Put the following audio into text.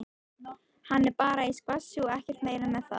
Hann er bara í skvassi og ekkert meira með það.